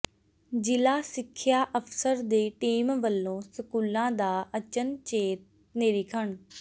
ਜ਼ਿਲ੍ਹਾ ਸਿੱਖਿਆ ਅਫ਼ਸਰ ਦੀ ਟੀਮ ਵਲੋਂ ਸਕੂਲਾਂ ਦਾ ਅਚਨਚੇਤ ਨਿਰੀਖਣ